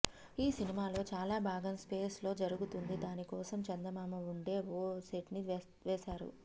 ఈ సినిమాలో చాలా భాగం స్పేస్ లో జరుగుతుంది దాని కోసం చందమామ ఉండే ఓ సెట్ ని వేసారు